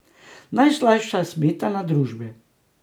Najslajša smetana družbe.